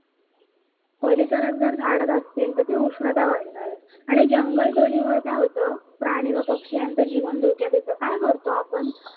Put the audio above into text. परिसरामध्ये जर झाडं नसतील, तेथील उष्णता वाढणारच आणि जंगल तोडीमुळे काय होतं प्राणी व पक्षी यांच जीवन धोक्यात येतं. काय करतो आपण?